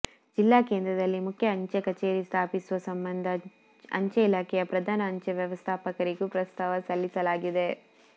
ಜಿಲ್ಲಾ ಕೇಂದ್ರದಲ್ಲಿ ಮುಖ್ಯ ಅಂಚೆ ಕಚೇರಿ ಸ್ಥಾಪಿಸುವ ಸಂಬಂಧ ಅಂಚೆ ಇಲಾಖೆಯ ಪ್ರಧಾನ ಅಂಚೆ ವ್ಯವಸ್ಥಾಪಕರಿಗೂ ಪ್ರಸ್ತಾವ ಸಲ್ಲಿಸಲಾಗಿದೆ